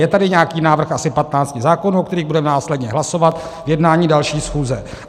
Je tady nějaký návrh asi 15 zákonů, o kterých budeme následně hlasovat v jednání další schůze.